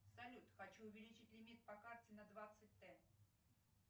салют хочу увеличить лимит по карте на двадцать тэ